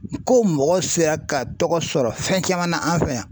Ko mɔgɔ sera ka tɔgɔ sɔrɔ fɛn caman na an fɛ yan.